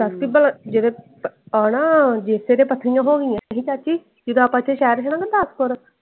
ਕਿੱਦਾਂ ਜਦੋਂ ਆਣਾ ਫੇਰ ਤੇ ਇਹਦੇ ਪੱਥਰੀਆਂ ਹੋਣੀਆਂ ਹੀ ਨੀ ਚਾਚੀ। ਜਿੰਦਾ ਆਪ ਇਥੇ ਚਾਰ